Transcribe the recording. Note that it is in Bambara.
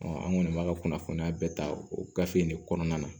an kɔni b'a ka kunnafoniya bɛɛ ta o gafe in ne kɔnɔna na